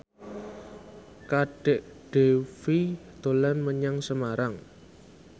Kadek Devi dolan menyang Semarang